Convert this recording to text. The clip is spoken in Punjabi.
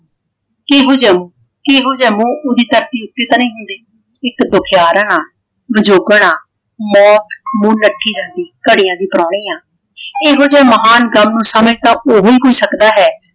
ਕਿਹੋ ਜਾ ਮੂੰਹ ਕਿਹੋ ਜਾ ਮੂੰਹ ਉਹਦੀ ਧਰਤੀ ਉੱਤੇ ਨਾ ਹੁੰਦੀ। ਇਕ ਦੁਖਿਆਰ ਵਿਜੋਗਣਾ ਮੌਤ ਮੂੰਹ ਨੂੰ ਲੱਠੀ ਜਾਂਦੀ। ਘੜੀਆਂ ਦੀ ਪ੍ਰਾਹਣੀ ਹਾਂ। ਇਹੋ ਜਿਹਾ ਮਹਾਨ ਗ਼ਮ ਨੂੰ ਸਮਝ ਤਾਂ ਉਹੀ ਸਕਦਾ ਹੈ।